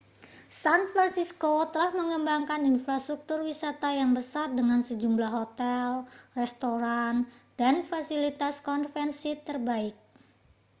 san francisco telah mengembangkan infrastruktur wisata yang besar dengan sejumlah hotel restoran dan fasilitas konvensi terbaik